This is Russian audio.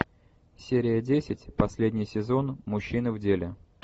серия десять последний сезон мужчины в деле